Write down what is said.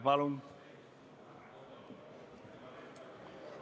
Palun!